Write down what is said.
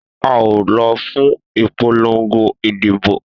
A o lo fún ìpolongo ìdìbò